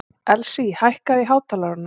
Elsí, hækkaðu í hátalaranum.